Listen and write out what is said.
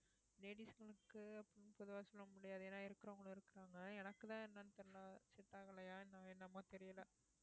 ladies ங்களுக்கு அப்படினு பொதுவா சொல்ல முடியாது ஏன்னா இருக்கிறவங்களும் இருக்கிறாங்க எனக்குதான் என்னன்னு தெரியலே set ஆகலையா இன்னும் என்னமோ தெரியலே